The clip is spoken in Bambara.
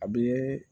A bɛ